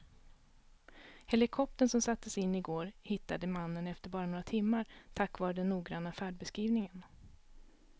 Helikoptern som sattes in i går hittade mannen efter bara några timmar tack vare den noggranna färdbeskrivningen.